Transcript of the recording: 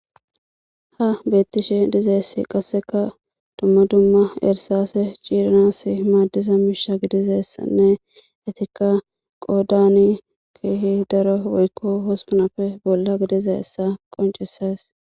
Ha beetishe dizayssi qasekka dumma dumma irsase ciiranasi maadiza miisha gidizaysanne eetika qoodani keehi daro woykko hospunappe bolla gidizayssa qoncises.